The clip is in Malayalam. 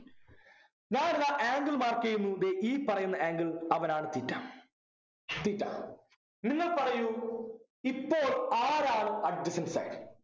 ഞാനിതാ Angle mark ചെയ്യുന്നു ദേ ഈ പറയുന്ന Angle അവനാണ് theta theta നിങ്ങൾ പറയു ഇപ്പൊൾ ആരാണ് adjacent side